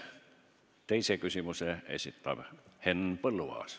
Teise küsimuse esitab Henn Põlluaas.